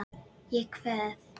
Ég kveð.